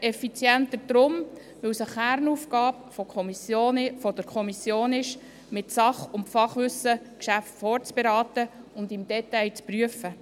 Deshalb effizienter, weil es eine Kernaufgabe der Kommission ist, mit Sach- und Fachwissen Geschäfte vorzuberaten und sie im Detail zu prüfen.